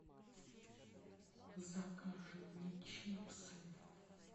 закажи мне чипсы